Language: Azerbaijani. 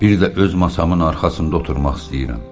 Bir də öz masamın arxasında oturmaq istəyirəm.